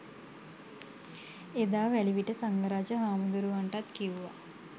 එදා වැලිවිට සංඝරාජ හාමුදුරුවන්ටත් කිව්වා